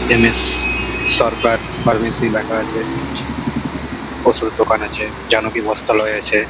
M S Sardar pharmacy লেখা আছে। ওষুধের দোকান আছে জানো কি বস্তায় আছে।